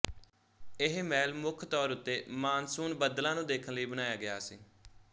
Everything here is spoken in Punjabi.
ਇਹ ਮਹਿਲ ਮੁੱਖ ਤੌਰ ਉੱਤੇ ਮਾਨਸੂਨ ਬੱਦਲਾਂ ਨੂੰ ਦੇਖਣ ਲਈ ਬਣਾਇਆ ਗਿਆ ਸੀ